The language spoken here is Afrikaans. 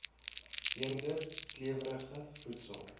eerder klewerige voedsel